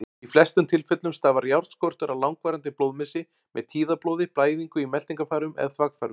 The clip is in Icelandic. Í flestum tilfellum stafar járnskortur af langvarandi blóðmissi, með tíðablóði, blæðingu í meltingarfærum eða þvagfærum.